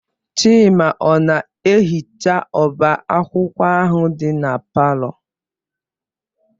Chima ọ na-ehicha ọba akwụkwọ ahụ dị na palọ?